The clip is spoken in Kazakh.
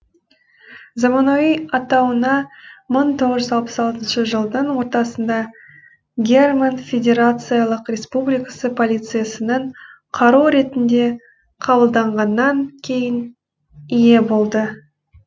заманауи атауына мың тоғыз жүз алпыс алтыншы жылдың ортасында герман федерациялық республикасы полициясының қаруы ретінде қабылданғаннан кейін ие болды